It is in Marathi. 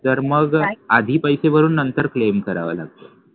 तर मग आधी पैसे भरून नंतर claim करावा लागतो.